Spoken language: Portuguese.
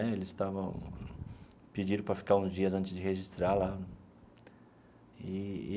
Eles estavam pediram para ficar uns dias antes de registrar lá eee.